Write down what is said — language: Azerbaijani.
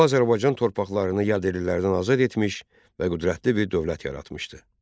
O Azərbaycan torpaqlarını yad ədillərdən azad etmiş və qüdrətli bir dövlət yaratmışdı.